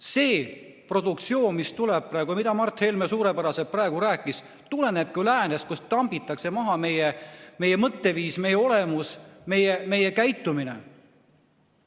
See produktsioon, mis tuleb ja millest Mart Helme praegu suurepäraselt rääkis, tulenebki ju läänest, kus tambitakse maha meie mõtteviis, meie olemus, meie käitumine.